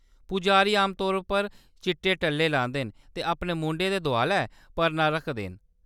पुजारी आमतौरा पर चिट्टे टल्ले लांदे न ते अपने मूंढें दे दोआलै परना रखदे न।